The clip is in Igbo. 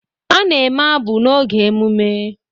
A na-eme abụ n'oge emume.